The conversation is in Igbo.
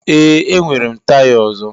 Ee, enwere m taya ọzọ.